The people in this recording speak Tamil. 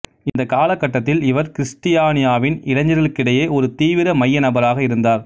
இந்த காலகட்டத்தில் இவர் கிறிஸ்டியானியாவின் இளைஞர்களிடையே ஒரு தீவிர மைய நபராக இருந்தார்